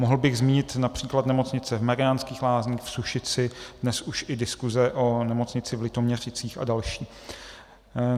Mohl bych zmínit například nemocnice v Mariánských Lázních, v Sušici, dnes už i diskuse o nemocnici v Litoměřicích a další.